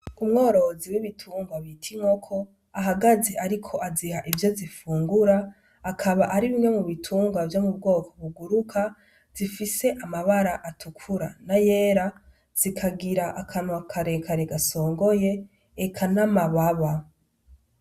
Umworozi w'ibitungwa bita inkoko ahagaze, ariko aziha ivyo zifungura, akaba ari bimwe mu bitungwa vyo mu bwoko buguruka, zifise amabara atukura n’ayera, zikagira akanwakarekare gasongoye eka n'amababa.